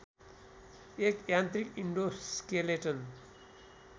एक यान्त्रिक इन्डोस्केलेटन